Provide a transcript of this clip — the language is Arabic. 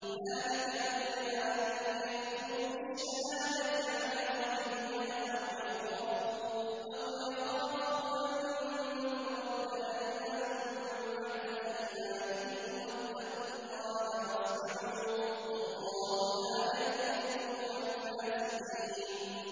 ذَٰلِكَ أَدْنَىٰ أَن يَأْتُوا بِالشَّهَادَةِ عَلَىٰ وَجْهِهَا أَوْ يَخَافُوا أَن تُرَدَّ أَيْمَانٌ بَعْدَ أَيْمَانِهِمْ ۗ وَاتَّقُوا اللَّهَ وَاسْمَعُوا ۗ وَاللَّهُ لَا يَهْدِي الْقَوْمَ الْفَاسِقِينَ